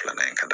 Filanan in ka di